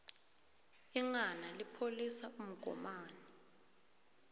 inghana lipholisa umgomani